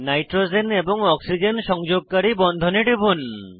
nitrogen এবং oxygen সংযোগকারী বন্ধনে টিপুন